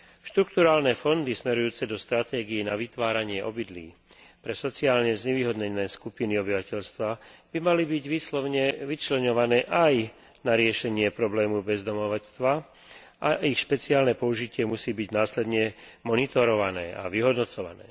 Štrukturálne fondy smerujúce do stratégií na vytváranie obydlí pre sociálne znevýhodnené skupiny obyvateľstva by mali byť výslovne vyčleňované aj na riešenie problémov bezdomovstva a ich špeciálne použitie musí byť následne monitorované a vyhodnocované.